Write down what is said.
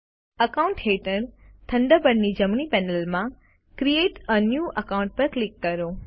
accounts હેઠળ થન્ડરબર્ડની જમણી પેનલમાંથી ક્રિએટ એ ન્યૂ અકાઉન્ટ પર ક્લિક કરો